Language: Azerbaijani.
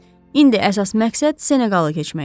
İndi əsas məqsəd Seneqalı keçməkdir.